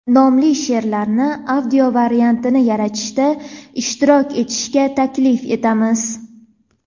nomli she’rlarni audio variantini yaratishda ishtirok etishga taklif etamiz.